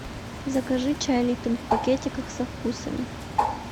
закажи чай липтон в пакетиках со вкусами